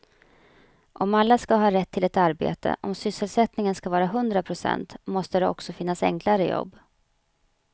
Om alla ska ha rätt till ett arbete, om sysselsättningen ska vara hundra procent måste det också finnas enklare jobb.